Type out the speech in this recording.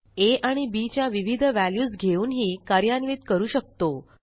आ आणि bच्या विविध व्हॅल्यूज घेऊनही कार्यान्वित करू शकता